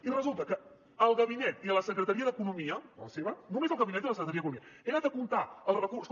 i resulta que el gabinet i la secretaria d’economia la seva només el gabinet i la secretaria d’economia he anat a comptar els recursos